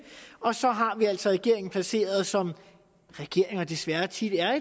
og så har vi altså regeringen placeret som regeringer desværre tit er